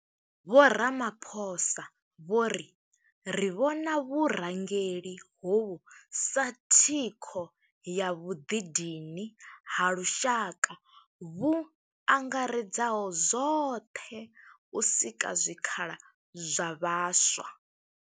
Vho Ramaphosa vho ri, Ri vhona vhurangeli hovhu sa thikho ya vhuḓidini ha lushaka vhu angaredzaho zwoṱhe u sika zwikhala zwa vhaswa.